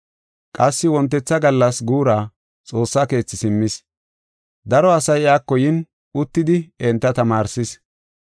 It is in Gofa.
Qassi wontetha gallas guura Xoossa Keethi simmis. Daro asay iyako yin uttidi enta tamaarsis.